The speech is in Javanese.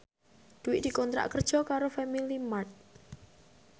Dwi dikontrak kerja karo Family Mart